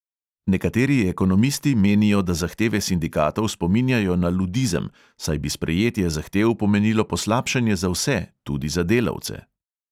Nekateri ekonomisti menijo, da zahteve sindikatov spominjajo na ludizem, saj bi sprejetje zahtev pomenilo poslabšanje za vse, tudi za delavce.